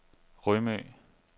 Rømø